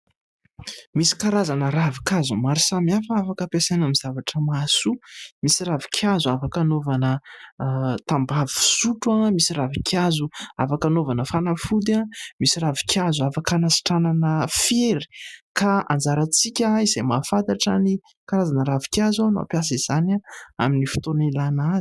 Misy karazana ravinkazo maro samihafa afaka ampiasaina amin'ny zavatra mahasoa. Misy ravinkazo afaka anaovana tambavy fisotro, misy ravinkazo afaa anaovana fanafody, misy ravinkazo afaka anasitranana fery. Ka anjarantsika izay mahafantatra ny karazana ravinkazo no ampiasa izany amin'ny fotoana ialina azy.